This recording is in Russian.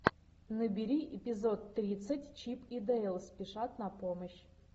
набери эпизод тридцать чип и дейл спешат на помощь